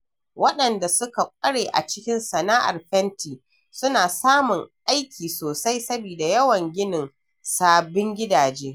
Waɗanda suka ƙware a cikin sana'ar fenti suna samun aiki sosai saboda yawan ginin sabbin gidaje.